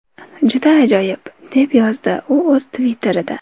Juda ajoyib!” deb yozdi u o‘z Twitter’ida.